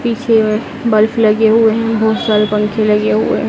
पीछे अ बल्फ लगे हुए हैं बहुत सारे पंखे लगे हुए हैं।